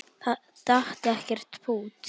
Það datt ekkert pútt.